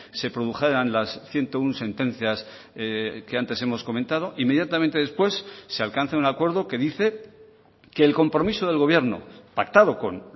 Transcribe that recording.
se produjeran las ciento uno sentencias que antes hemos comentado inmediatamente después se alcanza un acuerdo que dice que el compromiso del gobierno pactado con